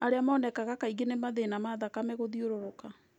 Arĩa monekaga kaingĩ nĩ mathĩĩna ma thakame gũthiũrũrũka.